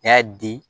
N y'a di